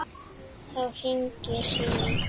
Þá hringir síminn.